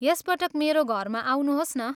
यस पटक मेरो घरमा आउनुहोस् न।